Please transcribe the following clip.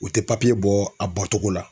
U tɛ papiye bɔ a bɔcogo la.